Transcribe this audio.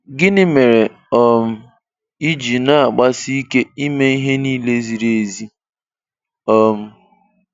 Gịnị mere um ị ji na-agbarisịke ịme ịhe niile ziri ezi? um